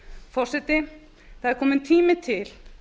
forseti það er kominn tími til